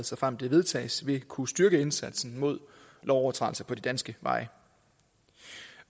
såfremt det vedtages vil kunne styrke indsatsen mod lovovertrædelser på de danske veje